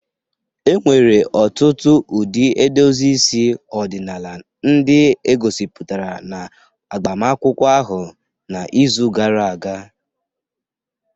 E nwere ọtụtụ ụdị edozi isi ọdịnala ndị e gosipụtara na agbamakwụkwọ ahụ n'izu gara aga